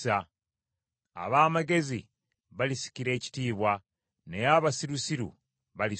Ab’amagezi balisikira ekitiibwa, naye abasirusiru baliswazibwa.